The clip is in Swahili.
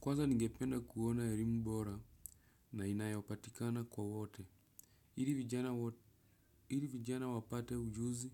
Kwanza ningependa kuona elimu bora na inayopatikana kwa wote. Ili vijana wapate ujuzi